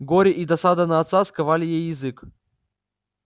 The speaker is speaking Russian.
горе и досада на отца сковали ей язык